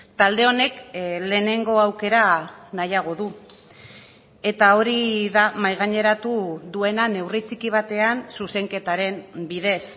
talde honek lehenengo aukera nahiago du eta hori da mahaigaineratu duena neurri txiki batean zuzenketaren bidez